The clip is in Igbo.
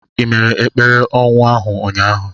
Ị mere ekpere ọnwụ ahụ ụnyahụ?